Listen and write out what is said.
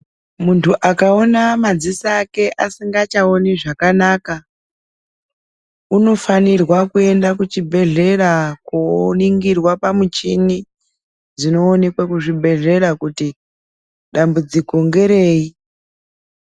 Munthu akaona madziso ake asingachaoni zvakanaka, unofanirwa kuenda kuchibhedhlera, koningirwa pamuchini dzinoonekwe kuzvibhedhlera kuti, dambudziko ngerei.